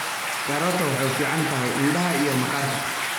Karooto waxay u fiican tahay indhaha iyo maqaarka.